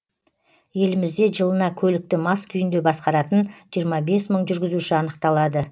елімізде жылына көлікті мас күйінде басқаратын жиырма бес мың жүргізуші анықталады